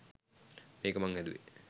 මේක මං හැදුවේ